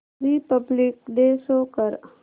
Republic day show कर